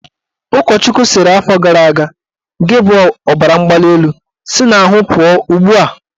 Ụkọchukwu sịrị afọ gara aga"Gị bụ ọbaramgbalịelu, si n'ahụ pụọ ugbua!